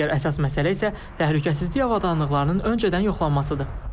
Digər əsas məsələ isə təhlükəsizlik avadanlıqlarının öncədən yoxlanmasıdır.